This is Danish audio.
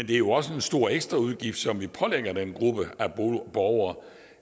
det er jo også en stor ekstra udgift som vi pålægger den gruppe af borgere